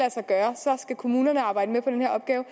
kommunerne arbejde med på den her opgave